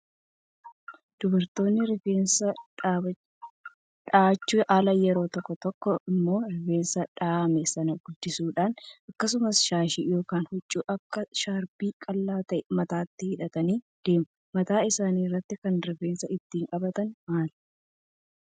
Dubartoonni rifeensa dhahachuun ala yeroo tokko tokko immoo rifeensa dhahame sana gadhiisuudhaan akkasumas shaashii yookaan huccuu akka shaarbii qal'aa ta'e mataatti hidhatanii deemu. Mataa isaanii irratti kan rifeensa ittiin qabatan maali?